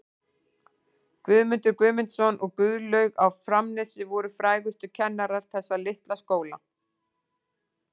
Guðmundur Guðmundsson og Guðlaug á Framnesi voru frægustu kennarar þessa litla skóla.